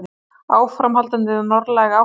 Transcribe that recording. Áframhaldandi norðlæg átt